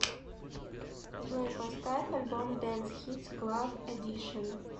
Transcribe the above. джой поставь альбом дэнс хитс клаб эдишн